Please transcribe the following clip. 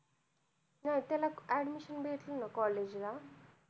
हम्म त्याला admission भेटलं ना college ला